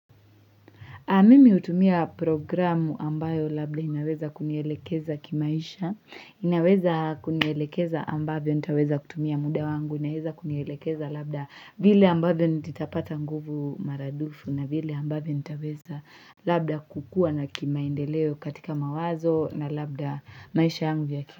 Mimi hutumia programu ambayo labda inaweza kunielekeza kimaisha, inaweza kunielekeza ambavyo nitaweza kutumia muda wangu, inaweza kunielekeza labda vile ambavyo nitapata nguvu maradufu na vile ambavyo nitaweza labda kukua na kimaendeleo katika mawazo na labda maisha yangu ya kili.